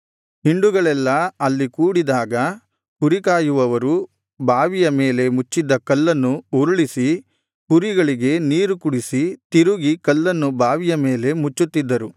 ಹಿಂಡುಗಳೆಲ್ಲಾ ಅಲ್ಲಿ ಕೂಡಿದಾಗ ಕುರಿಕಾಯುವವರು ಬಾವಿಯ ಮೇಲೆ ಮುಚ್ಚಿದ್ದ ಕಲ್ಲನ್ನು ಉರುಳಿಸಿ ಕುರಿಗಳಿಗೆ ನೀರು ಕುಡಿಸಿ ತಿರುಗಿ ಕಲ್ಲನ್ನು ಬಾವಿಯ ಮೇಲೆ ಮುಚ್ಚುತ್ತಿದ್ದರು